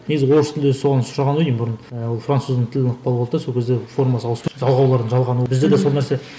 негізі орыс тілінде соған сұраған ғой деймін бұрын ы француз тілінің ықпалы болды да сол кезде формасы ауысып жалғаулардың жалғануы бізде де сол нәрсе